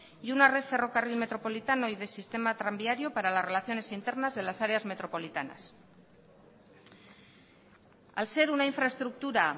y una red ferrocarril metropolitano y de sistema tranviario para las relaciones internas de las áreas metropolitanas al ser una infraestructura